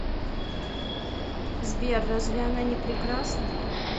сбер разве она не прекрасна